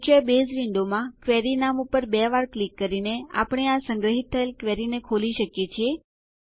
મુખ્ય બેઝ વિન્ડોમાં ક્વેરી નામ ઉપર બે વાર ક્લિક કરીને આપણે આ સંગ્રહિત થયેલ ક્વેરીને ખોલી શકીએ છીએ